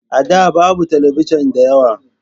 A da babu talabijin da yawa.